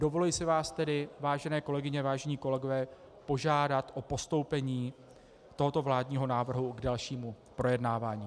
Dovoluji si vás tedy, vážené kolegyně, vážení kolegové, požádat o postoupení tohoto vládního návrhu k dalšímu projednávání.